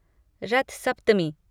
रथ सप्तमी